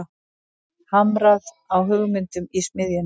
Hamrað á hugmyndum í smiðjunni